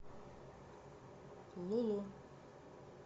лулу